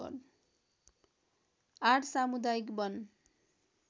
८ सामुदायिक वन